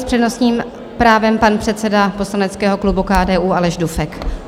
S přednostním právem pan předseda poslaneckého klubu KDU Aleš Dufek.